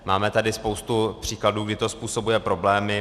Máme tady spoustu příkladů, kdy to způsobuje problémy.